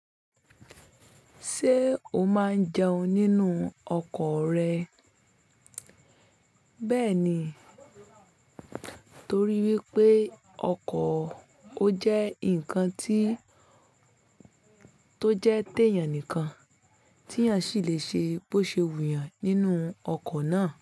Ṣé o máa ń jẹun nínú ọkọ rẹ? Bẹ́ẹ̀ ni, torí wípé ọkọ̀ ó jẹ́ ǹkan ti to jẹ́ tèèyàn nìkan tí èèyàn sì lè ṣe bó ṣe wù yàn nínú ọkọ̀ náà.